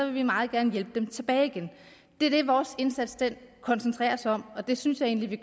vi meget gerne hjælpe dem tilbage igen det er det vores indsats koncentrerer sig om og det synes jeg egentlig